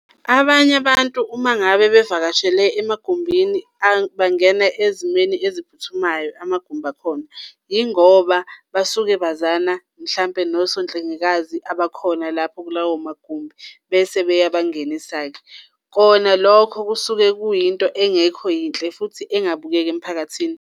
Abanye abantu uma ngabe bevakashele emagumbini bangena ezimeni eziphuthumayo amagumbi akhona yingoba basuke bazana, mhlampe nosonhlengikazi abakhona lapho kulawo magumbi bese beyabangenisa-ke. Kona lokho kusuke kuyinto engekho yinhle futhi engabukeki emphakathini.